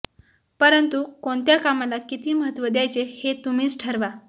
परंतु कोणत्या कामाला किती महत्त्व द्यायचे हे तुम्हीच ठरवा